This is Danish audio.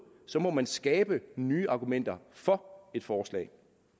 så må man skabe nye argumenter for et forslag